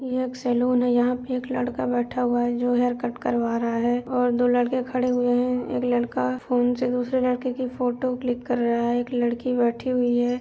यह एक सैलून है यहां पर एक लड़का बैठा हुआ है जो हेयर कट करवा रहा है और दो लड़के खड़े हुए हैं एक लड़का फोन से दूसरे लड़के की फोटो क्लिक कर रहा है एक लड़की बैठी हुई है।